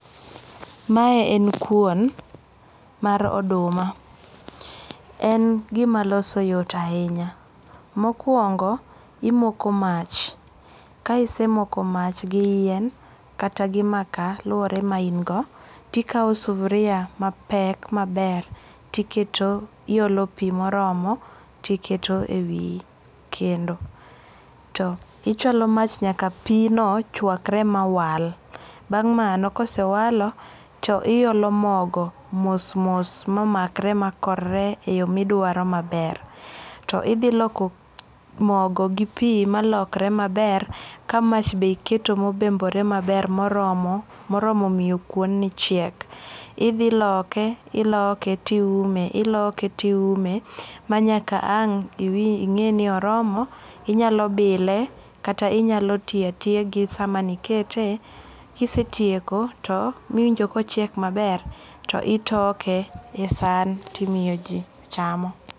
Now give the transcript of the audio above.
Mae en kuon mar oduma en gimaloso yot ahinya, mokuongo' imoko mach kae kisemoko mach gi yien kata gi makaa luore ma in go, tikawo sufuria mapek maber tiketo iyolo pi moromo tiketo e wi kendo to ichualo mach nyaka pino chwakre mawal, bang'mano ka osewalo to hiolo mogo mos mos ma makre maa korre e yo midwaro maber to ithiloko mogo gi pi malokre maber ka mach be iketo mo obembore maber moromo moromo miyo kuoni chiek, ithiloke iloke tiume iloke tiume manyaka ang' inge'ni oromo inyalo bile kata inyalo tiye tiya gi sama nikete kisetieko to miwinjo ka ochiek maber to otoke e saan timoyo ji chamo.